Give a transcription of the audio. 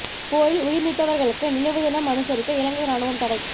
போரில் உயிர் நீத்தவர்களுக்கு நினைவு தினம் அனுசரிக்க இலங்கை ராணுவம் தடை